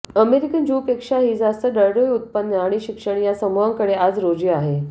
American ज्यूंपेक्षाही जास्त दरडोई उत्पन्न आणि शिक्षण या समूहाकडं आज रोजी आहे